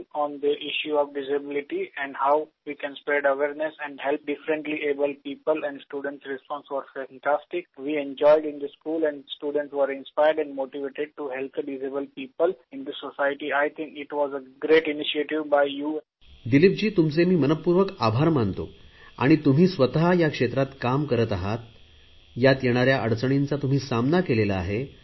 दिलीपजी तुमवे मी मनपूर्वक आभार मानतो तुम्ही स्वत या क्षेत्रात काम करत आहात यात येणाऱ्या अडचणींचा तुम्ही सामना केला आहे